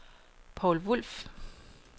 Poul Wulff